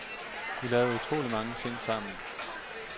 Vi lavede utrolig mange ting sammen.